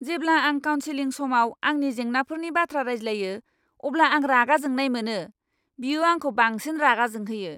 जेब्ला आं काउन्सिलिं समाव आंनि जेंनाफोरनि बाथ्रा रायज्लायो अब्ला आं रागा जोंनाय मोनो। बियो आंखौ बांसिन रागा जोंहोयो।